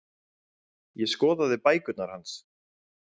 Ég skoða bækurnar hans.